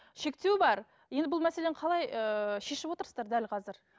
шектеу бар енді бұл мәселені қалай ыыы шешіп отырсыздар дәл қазір